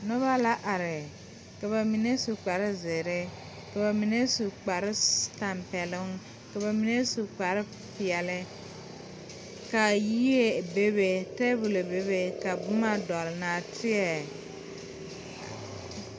Noba la are ka ba mine au kpare zeere ka ba mine su kpare tampɛloŋ ka ba mine su kpare peɛle kaa yie bebe tɛbolɔ bene ka boma dɔgle nɔɔteɛ.